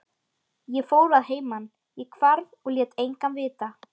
Ég fór að heiman, ég hvarf og lét engan vita.